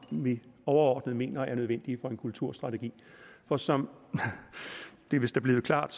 vi overordnet mener er nødvendige for en kulturstrategi for som det vist er blevet klart